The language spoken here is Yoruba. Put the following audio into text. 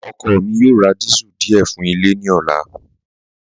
Ọkọ mi yoo rá díésẹ̀l díẹ̀ fún ilẹ̀ ní ọ̀là.